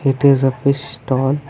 it is a fish stall.